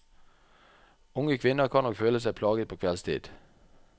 Unge kvinner kan nok føle seg plaget på kveldstid.